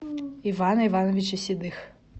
ивана ивановича седых